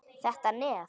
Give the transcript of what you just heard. Þetta nef!